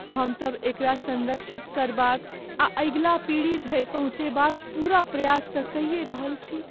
हमसभ एकरा संरक्षित करबाक आ अगिला पीढ़ी धरि पहुँचयबाक पूरा प्रयास तँ कइये रहल छी।